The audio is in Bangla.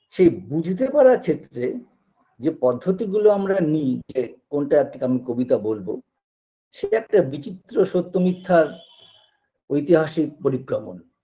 সেই বুঝতে পারার ক্ষেত্রে যে পদ্ধতিগুলো আমরা নিই যে কোনটা কিরম কবিতা বলবো সেটা একটা বিচিত্র সত্য মিথ্যার ঐতিহাসিক পরিক্রমন